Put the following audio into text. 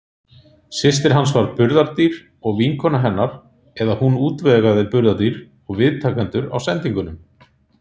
Systir hans var burðardýr, og vinkonur hennar, eða hún útvegaði burðardýr og viðtakendur á sendingunum.